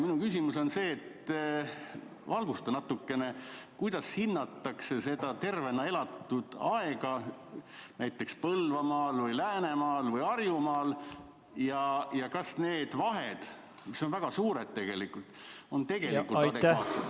Valgusta natukene, kuidas hinnatakse tervena elatud aega näiteks Põlvamaal, Läänemaal või Harjumaal ja kas need vahed, mis on väga suured, on tegelikult adekvaatsed.